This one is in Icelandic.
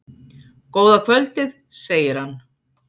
Góða kvöldið, segir hann.